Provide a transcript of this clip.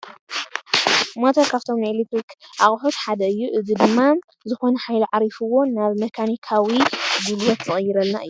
ሞተር ካብቶም ናይ ኤለክትሪክ ኣቑሑት ሓደ እዩ፡፡ እዚ ድማ ዝኾነ ሓይሊ ዓሪፍዎ ናብ መካኒካዊ ጉልበት ዝቕይረልና እዩ፡፡